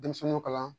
Denmisɛnninw kalan